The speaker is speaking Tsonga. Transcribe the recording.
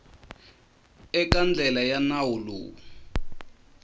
eka ndlela ya nawu lowu